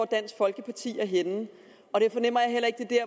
dansk folkeparti er henne og jeg fornemmer heller ikke at det